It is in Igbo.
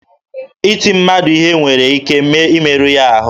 Iti mmadụ ihe nwere ike imeru ya ahụ